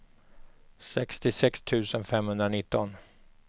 sextiosex tusen femhundranitton